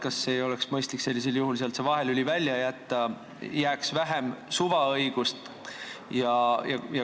Kas ei oleks mõistlik sellisel juhul sealt see vahelüli välja jätta, jääks vähem suvaõigust?